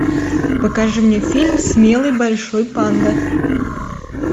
покажи мне фильм смелый большой панда